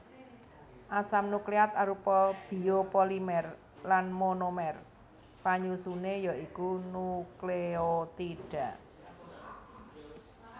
Asam nukleat arupa biopolimer lan monomer panyusuné ya iku nukleotida